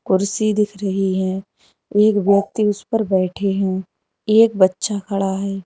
कुर्सी दिख रही है एक व्यक्ति उसे पर बैठे हैं एक बच्चा खड़ा है।